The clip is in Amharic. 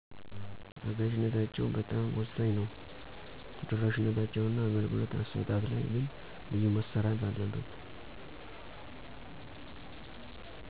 አጋዠነታቸው በጣም ወሳኝ ነው። ተደራሽነታቸው እና አገልግሎት አስጣጥ ላይ ግን ብዙ መሰራት አለበት።